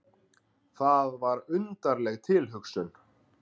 Það var undarleg tilhugsun.